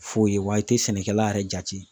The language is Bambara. Foyi ye wa i te sɛnɛkɛla yɛrɛ jate